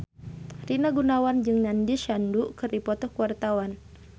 Rina Gunawan jeung Nandish Sandhu keur dipoto ku wartawan